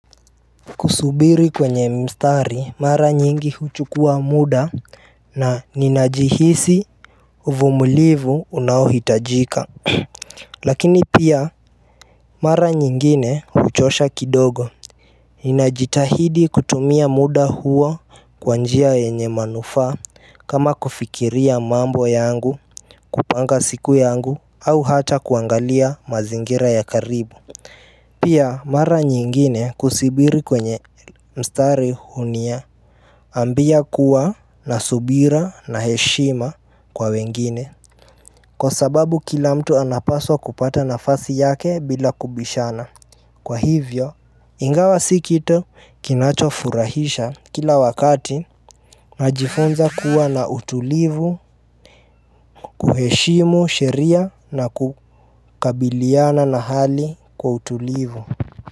Kusubiri kwenye mstari mara nyingi huchukua muda na ninajihisi uvumulivu unaohitajika Lakini pia mara nyingine huchosha kidogo Ninajitahidi kutumia muda huo kwa njia yenye manufaa kama kufikiria mambo yangu kupanga siku yangu au hata kuangalia mazingira ya karibu Pia mara nyingine kusubiri kwenye mstari hunia ambia kuwa na subira na heshima kwa wengine Kwa sababu kila mtu anapaswa kupata nafasi yake bila kubishana Kwa hivyo, ingawa si kitu kinachofurahisha kila wakati Najifunza kuwa na utulivu, kuheshimu, sheria na kukabiliana na hali kwa utulivu.